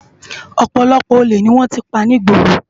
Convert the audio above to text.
Òpòlòpò ólé ni wòn ti pá nigbóró